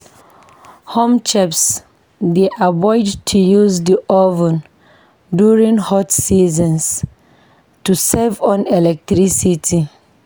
Home chefs dey avoid to use the oven during hot seasons to save on electricity.